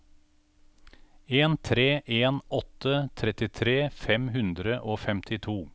en tre en åtte trettitre fem hundre og femtito